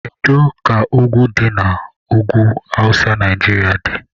Kedu ka ugwu ndị dị n'ugwu awụsa Naijiria dị?